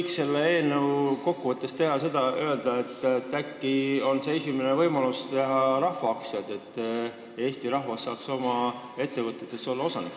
Kas ma võin kokkuvõtteks öelda, et äkki on see eelnõu esimene võimalus teha rahvaaktsiaid, et Eesti rahvas saaks olla oma ettevõtetes osanik?